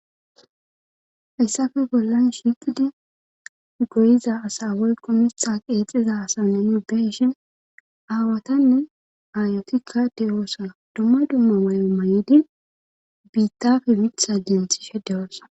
hayssafe bollan shiqidi goyiza asa woy komitha qeexiza asanne yubeshin aawatanne aayotikka de7oosa dumma dumma may7o may7idi biittafe witha denthishe dewoossa